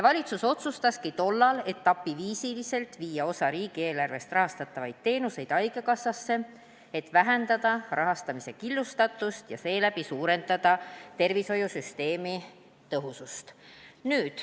Tollal otsustaski valitsus viia osa riigieelarvest rahastatavaid teenuseid etapiviisi üle haigekassale, et vähendada rahastamise killustatust ja seeläbi suurendada tervishoiusüsteemi tõhusust.